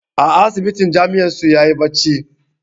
A asibitin jami'ar su yayi bacci